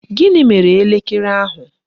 Gịnị mere elekere ahụ?